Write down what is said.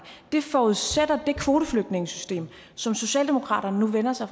det forudsætter det kvoteflygtningesystem som socialdemokratiet nu vender sig